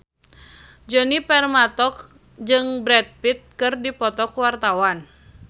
Djoni Permato jeung Brad Pitt keur dipoto ku wartawan